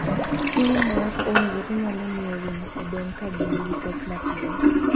Chiemo maok owinjore nyalo miyo winy odong' ka gin gi pek matin.